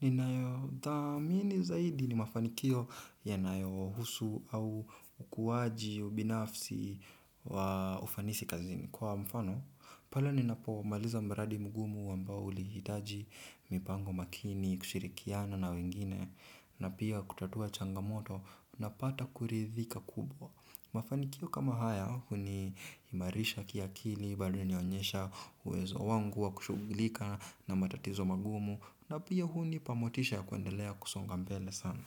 Ninayo dhamini zaidi ni mafanikio yanayohusu au ukuwaji ubinafsi wa ufanisi kazini. Kwa mfano, pale ni napo maliza mradi mgumu ambao ulihitaji, mipango makini, kushirikiana na wengine, na pia kutatua changamoto, napata kuridhika kubwa. Mafanikio kama haya, huni imarisha kiakili, baadye hunionyesha uwezo wangu wa kushughulika na matatizo magumu, na pia hunipa motisha kuendelea kusonga mbele sana.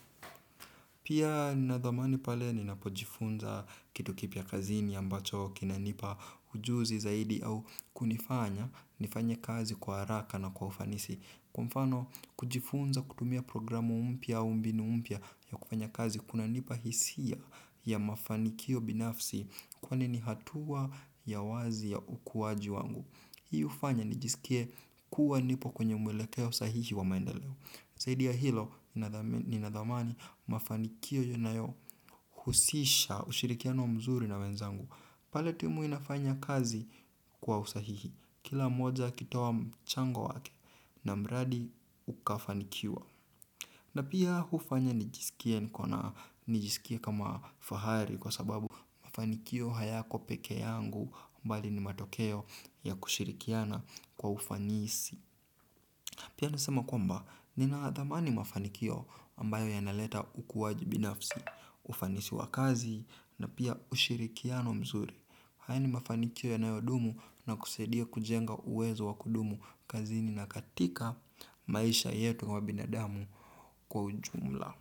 Pia nadhamani pale ninapojifunza kitu kipya kazini ambacho kinanipa ujuzi zaidi au kunifanya, nifanye kazi kwa haraka na kwa ufanisi. Kwa mfano kujifunza kutumia programu mpya au mbinu mpya ya kufanya kazi kuna nipa hisia ya mafanikio binafsi kwani ni hatua ya wazi ya ukuwaji wangu. Hi hufanya nijisikie kuwa nipo kwenye mwelekeo sahihi wa maendeleo. Zaidi ya hilo ninadhamani mafanikio yanayo husisha ushirikiano mzuri na wenzangu. Pale timu inafanya kazi kwa usahihi. Kila mmoja akitoa mchango wake na mradi ukafanikiwa na pia hufanya nikisikia niko na nijisikia kama fahari kwa sababu mafanikio hayako peke yangu mbali ni matokeo ya kushirikiana kwa ufanisi. Pia niseme kwamba ninadhamani mafanikio ambayo yanaleta ukuaji binafsi. Ufanisi wa kazi na pia ushirikiano mzuri. Haya ni mafanikio yanayo dumu na kusaidia kujenga uwezo wa kudumu kazini na katika maisha yetu ya binadamu kwa ujumla.